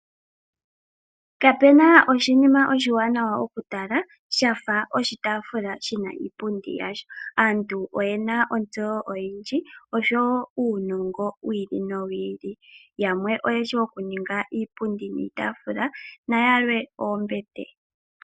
Kapena oshinima oshiwana okutala shafa oshitaafula shina iipundi iyali . Aantu oyena ontsewo oyindji oshowo uunongo wi ili no wi ili. Yamwe oyeshi okuninga iipundi niitaafula nayalwe oombete.